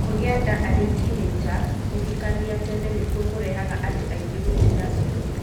Kũgĩa nda arĩ tinĩnja, kũhikania tene nĩkuo kũrehaga andũ aingĩ kũtiga cukuru